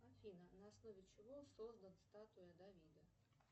афина на основе чего создан статуя давида